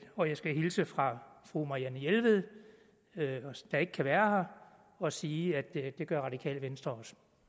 og jeg skal hilse fra fru marianne jelved der ikke kan være her og sige at det gør det radikale venstre